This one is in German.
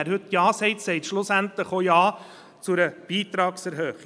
Wer heute Ja sagt, sagt schlussendlich auch Ja zu einer Beitragserhöhung.